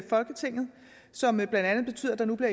folketinget som blandt andet betyder at der nu